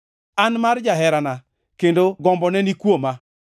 An mar jaherana, kendo gombone ni kuoma.